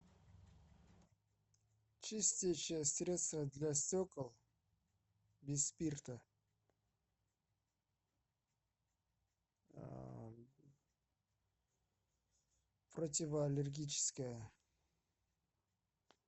чистящее средство для стекол без спирта противоаллергическое